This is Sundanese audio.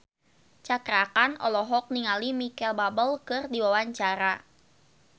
Cakra Khan olohok ningali Micheal Bubble keur diwawancara